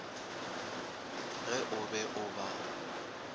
ge o be o ba